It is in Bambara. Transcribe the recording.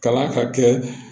Kalan ka kɛ